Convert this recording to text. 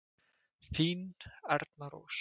Þín Erna Rós.